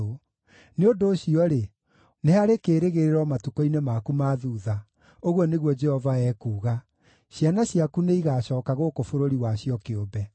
Nĩ ũndũ ũcio-rĩ, nĩ harĩ kĩĩrĩgĩrĩro matukũ-inĩ maku ma thuutha,” ũguo nĩguo Jehova ekuuga. “Ciana ciaku nĩigacooka gũkũ bũrũri wacio kĩũmbe.